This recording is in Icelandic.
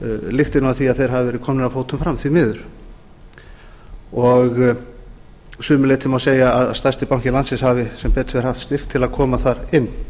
lykti af því að þeir hafi verið komnir af fótum fram því miður að sumu leyti má segja að stærsti banki landsins hafi sem betur fer haft styrk til að koma þar inn